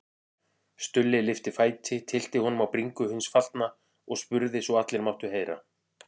Stulli lyfti fæti, tyllti honum á bringu hins fallna og spurði svo allir máttu heyra